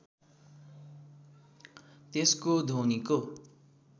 त्यसको ध्वनिको